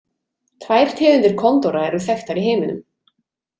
Tvær tegundir kondóra eru þekktar í heiminum.